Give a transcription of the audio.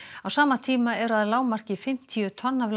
á sama tíma eru að lágmarki fimmtíu tonn af